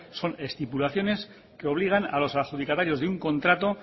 son estipulaciones que obligan a los adjudicatarios de un contrato